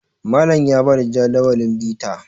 Malam ya ba da Jadawalin bita